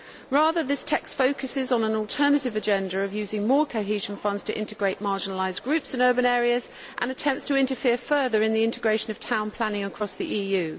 Rather, this text focuses on an alternative agenda of using more cohesion funds to integrate marginalised groups in urban areas and attempts to interfere further in the integration of town planning across the EU.